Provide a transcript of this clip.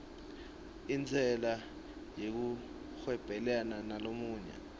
intsela yekuhwebelana nalamanye